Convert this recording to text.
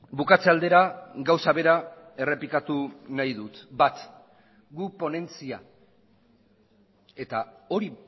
bukatze aldera gauza bera errepikatu nahi dut bat guk ponentzia eta hori